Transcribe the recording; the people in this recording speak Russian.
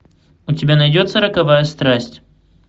у тебя найдется роковая страсть